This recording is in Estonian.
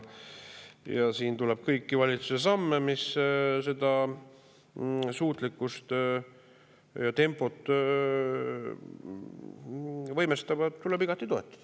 Ja siin tuleb kõiki valitsuse samme, mis seda suutlikkust ja tempot võimestavad, igati toetada.